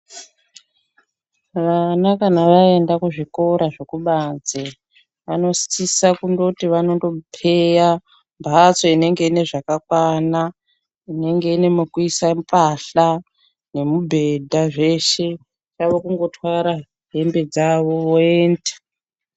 Vana kana vaenda kuzvikora zvekubanze vanosisa kungoti vanondopeya mbatso inenge ine zvakakwana inenge ine mekuisa mbahla nemubhedha zveshe. Chavo kungotwara hembe dzavo voenda.